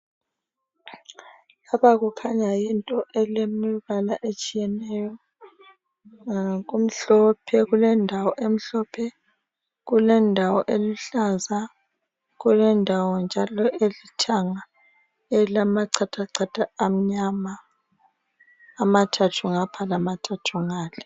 Lapha kukhanya yinto elemibala etshiyeneyo kumhlopje kulendawo emhlophe kulendawo eluhlaza kulendawo njalo elithanga elamachathachatha amnyama amathathu ngapha lamathathu ngale